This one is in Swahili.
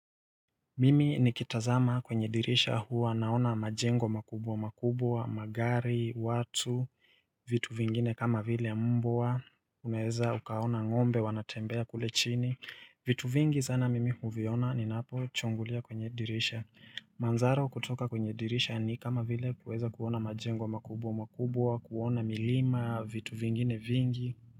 Mimi nikitazama kwenye dirisha huwa naona majengo makubwa makubwa, magari, watu, vitu vingine kama vile mbwa, unaweza ukaona ngombe wanatembea kule chini. Vitu vingi sana mimi huviona ninapo chungulia kwenye dirisha. Manzara kutoka kwenye dirisha ni kama vile kuweza kuona majengo makubwa makubwa, kuona milima, vitu vingine vingi.